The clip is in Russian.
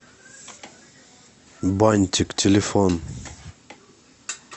бантик телефон